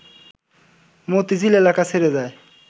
মতিঝিল এলাকা ছেড়ে যায়